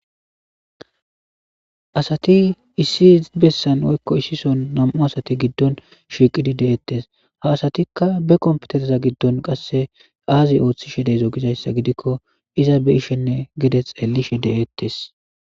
asati issi bessan woykko issison nam'u asati giddon shiiqidi deiettes, ha asatikka be kompetereza giddon qasse aazi ooththishe deezo gizayssa gidikkon iza be'ishenne gide xellishe de'ettes.